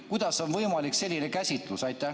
Kuidas on võimalik selline käsitlus?